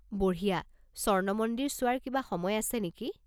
বঢ়িয়া। স্বৰ্ণ মন্দিৰ চোৱাৰ কিবা সময় আছে নেকি?